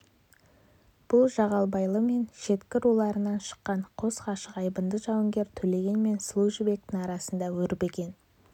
бұл жағалбайлы мен шекті руларынан шыққан қос ғашық айбынды жауынгер төлеген мен сұлу жібектің арасында өрбіген